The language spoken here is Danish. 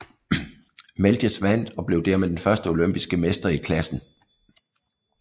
Melges vandt og blev dermed den første olympiske mester i klassen